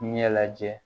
Ɲɛ lajɛ